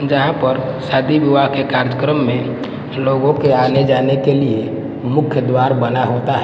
जहां पर शादी विवाह के कार्यक्रम में लोगों के आने जाने के लिए मुख्य द्वार बना होता।